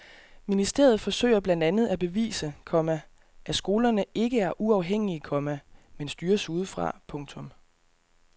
Ministeriet forsøger blandt andet at bevise, komma at skolerne ikke er uafhængige, komma men styres udefra. punktum